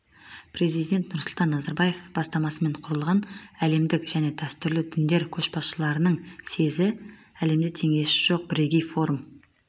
президент нұрсұлтан назарбаев бастамасымен құрылған әлемдік және дәстүрлі діндер көшбасшыларының съезі әлемде теңдесі жоқ бірегей форум